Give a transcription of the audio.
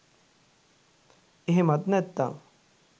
එහෙමත් නැත්නං